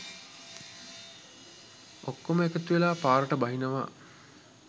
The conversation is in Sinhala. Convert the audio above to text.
ඔක්කොම එකතුවෙලා පාරට බහිනවා.